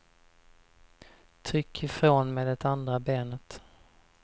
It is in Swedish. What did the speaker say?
Tryck ifrån med det andra benet.